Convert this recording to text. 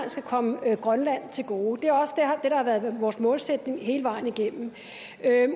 skal komme grønland til gode det er også det der har været vores målsætning hele vejen igennem